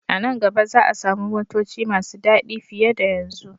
A nan gaba za a samu motoci masu dadi fiye da yanzu.